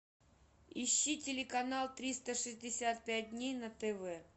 ищи телеканал триста шестьдесят пять дней на тв